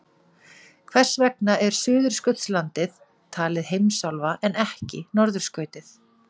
hvers vegna er suðurskautslandið talið heimsálfa en ekki norðurskautið